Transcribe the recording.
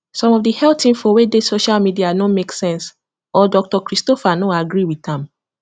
some of the health info wey dey social media no make sense or doctor christopher no agree with am